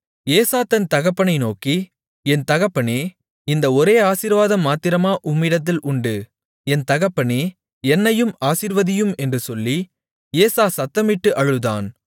ஏசா தன் தகப்பனை நோக்கி என் தகப்பனே இந்த ஒரே ஆசீர்வாதம் மாத்திரமா உம்மிடத்தில் உண்டு என் தகப்பனே என்னையும் ஆசீர்வதியும் என்று சொல்லி ஏசா சத்தமிட்டு அழுதான்